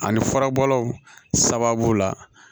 Ani furabɔlaw sababu la